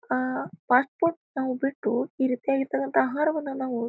ಆಹ್ಹ್ fast food ನಾವು ಬಿಟ್ಟು ಈ ರೀತಿಯಾಗಿರತಕ್ಕಂತ ಆಹಾರವನ್ನು ನಾವು--